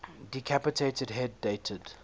decapitated head dated